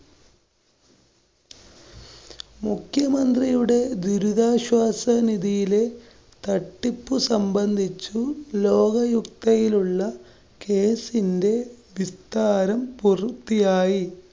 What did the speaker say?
മുഖ്യമന്ത്രിയുടെ ദുരിതാശ്വാസ നിധിയിലെ തട്ടിപ്പു സംബന്ധിച്ചും ലോകയുക്തയിലുള്ള കേസിന്റെ വിസ്താരം പുരുര്‍ത്തിയായി.